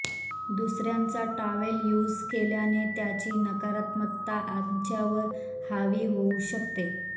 दुसर्यांचा towel use केल्याने त्याची नकारात्मकता आमच्यावर हावी होऊ शकते